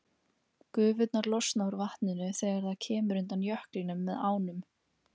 Gufurnar losna úr vatninu þegar það kemur undan jöklinum með ánum.